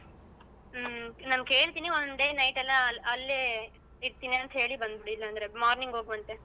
ಹ್ಮ್ ನಾನ್ ಕೇಳ್ತೀನಿ ಒಂದೆ oneday night ಎಲ್ಲ ಅಲ್ಲೇ ಇರ್ತೀನಿ ಅಂತ ಹೇಳಿ ಬಂದ್ಬಿಡು ಇಲ್ಲಾಂದ್ರೆ morning ಹೋಗುವಂತ್ತೆ.